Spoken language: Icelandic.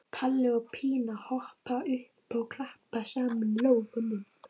Palli og Pína hoppa upp og klappa saman lófunum.